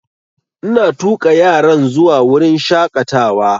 Ina tuƙa yaran zuwa wurin shaƙatawa